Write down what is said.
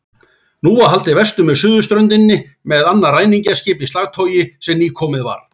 Nú var haldið vestur með suðurströndinni með annað ræningjaskip í slagtogi sem nýkomið var.